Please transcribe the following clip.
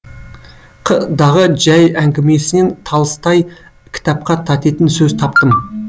қ дағы жәй әңгімесінен талыстай кітапқа татитын сөз таптым